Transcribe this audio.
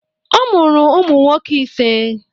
Ọ mụrụ ụmụ nwoke ise.